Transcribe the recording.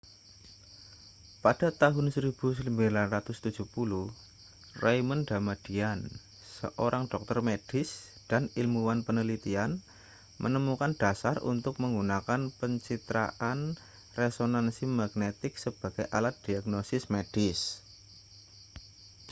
pada tahun 1970 raymond damadian seorang dokter medis dan ilmuwan penelitian menemukan dasar untuk menggunakan pencitraan resonansi magnetik sebagai alat diagnosis medis